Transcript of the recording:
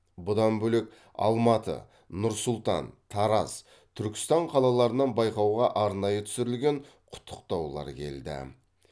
бұдан бөлек алматы нұр сұлтан тараз түркістан қалаларынан байқауға арнайы түсірілген құттықтаулар келді